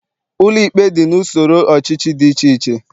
Ụlọikpe dị n'usoro ọchịchị dị iche iche